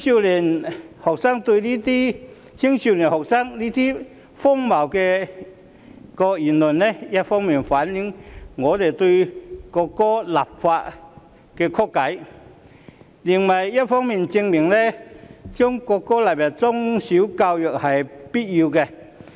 年輕學生的這些荒謬言論，一方面反映他們對就國歌立法的曲解，另一方面證明將國歌納入中小學教育是必須的。